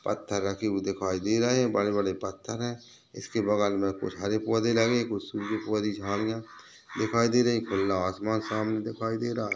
--पत्थर रखे हुए दिखाई दे रहे है बड़े बड़े पत्थर है इसके बगल में कुछ हरे पौधे लगे है कुछ सूखे पौधे झाडिया दिखाई दे रही खुला आसमान सामने दिखाई दे रहा है।